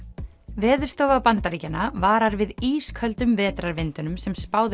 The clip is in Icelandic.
Veðurstofa Bandaríkjanna varar við ísköldum vetrarvindunum sem spáð